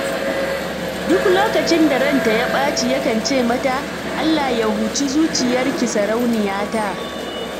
Duk lokacin da ranta ya ɓaci yakan ce mata, 'Allah ya huci zuciyarki sarauniyata'.